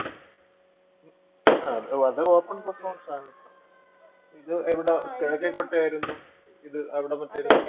ഉം ആഹ് അത് open performance ആണ് ഇത് എവിടാ കിഴക്കേക്കോട്ടയായിരുന്നു ഇത് അവിടെ മറ്റേത്